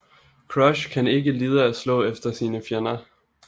Crush kan lide at slå efter sine fjender